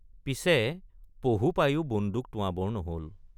পিছে পহু পায়ো বন্দুক টোঁৱাবৰ নহল।